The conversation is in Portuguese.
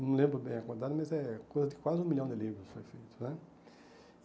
Não lembro bem a quantidade, mas é coisa de quase um milhão de livros foi feito né.